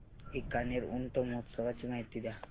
बीकानेर ऊंट महोत्सवाची माहिती द्या